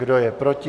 Kdo je proti?